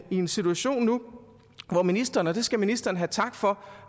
i en situation nu hvor ministeren og det skal ministeren have tak for